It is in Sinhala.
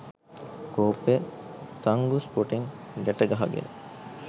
කෝප්පය තංගුස් පොටෙන් ගැට ගහගෙන